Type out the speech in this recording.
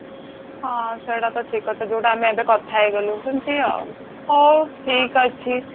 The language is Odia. ହଁ ସେଇଟା ତ ଠିକ କଥା ଯୋଉଟା କି ଆମେ ଏବେ କଥା ହେଇଗଲୁ ସେମିତି ଆଉ ହଉ ଠିକ ଅଛି